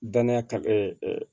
Danniya ka